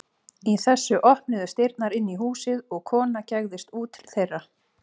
Í þessu opnuðust dyrnar inn í húsið og kona gægðist út til þeirra.